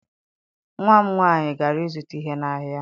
Nwa m nwaanyị gara ịzụta ihe n'ahịa.